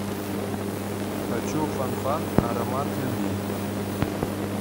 хочу фанфан аромат любви